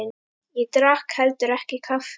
Ég drakk heldur ekki kaffi.